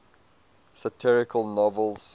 satirical novels